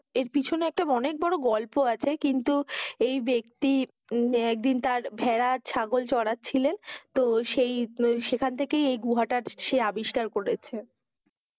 এর পিছনে একটা অনেক বড় গল্প আছে। কিন্তু এই ব্যক্তি একদিন তার ভেড়া, ছাগল চড়াচ্ছিলেন, তো সেই সেখান থেকেই এই গুহাটি সে আবিষ্কার করেছে।